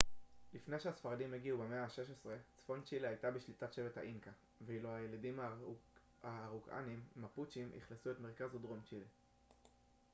לפני שהספרדים הגיעו במאה ה-16 צפון צ'ילה הייתה בשליטת שבט האינקה ואילו הילידים האראוקאנים מפוצ'ים אכלסו את מרכז ודרום צ'ילה